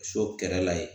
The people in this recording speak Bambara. So kɛrɛ la ye